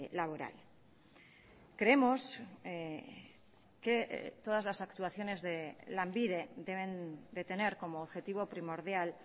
laboral creemos que todas las actuaciones de lanbide deben de tener como objetivo primordial